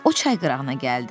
O çay qırağına gəldi.